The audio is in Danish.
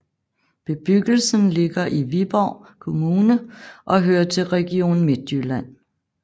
Bebyggelsen ligger i Viborg Kommune og hører til Region Midtjylland